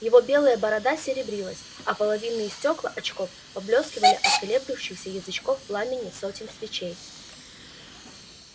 его белая борода серебрилась а половинные стёкла очков поблескивали от колеблющихся язычков пламени сотен свечей